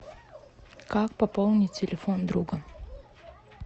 как пополнить телефон друга